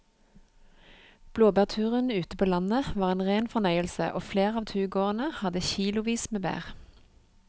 Blåbærturen ute på landet var en rein fornøyelse og flere av turgåerene hadde kilosvis med bær.